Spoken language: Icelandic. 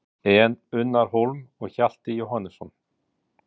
En Unnar Hólm og Hjalti Jóhannesson?